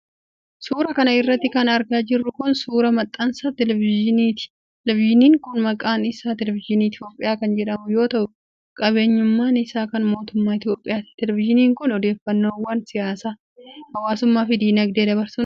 Suura kana irratti kan argaa jirru kun, suura maxxansa televizyiniiti. Televizyiniin kun maqaan isaa Televizyinii Itoophiyaa kan jedhamu yoo ta'u, qabeenyummaan isaa kan mootummaa Itoophiyaati. Televzyiniin kun odeeffannoowwan siyaasaa, hawaasummaa fi diinagdee dabarsuun kan beekamuudha.